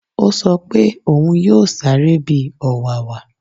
Ó sọ pé òún yóò sáré bi ọ̀wàwà